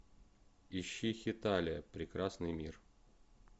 ищи хеталия прекрасный мир